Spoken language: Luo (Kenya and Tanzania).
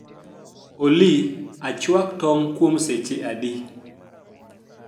olly achwak tong kuom seche adi